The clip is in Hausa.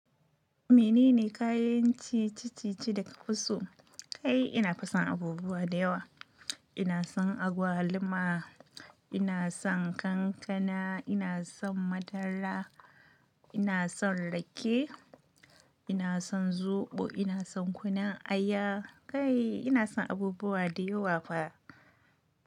Menene kayan cici cici da ka fi so? Kai ina fason abubuwa da yawa. Ina son agwaluma, ina son kankana, ina son madara, ina son rake, ina son zoɓo, ina son kunun aya. Kai ina son abubuwa da yawa fa.